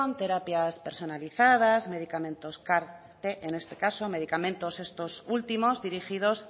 terapias personalizadas medicamentos car en este caso medicamentos estos últimos dirigidos